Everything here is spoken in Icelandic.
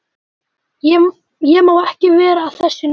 Ég má ekki vera að þessu núna.